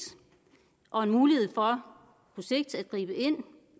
og en mulighed for på sigt at gribe ind